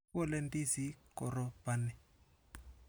Kikole ndizinik koropani.